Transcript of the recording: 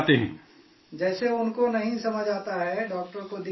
جیسے ان کونہیں سمجھ، ڈاکٹر کو دکھا دیتی ہیں